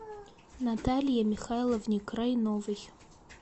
наталье михайловне крайновой